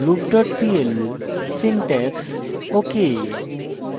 loop dot pl syntax ok